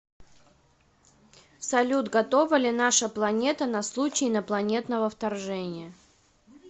салют готова ли наша планета на случай инопланетного вторжения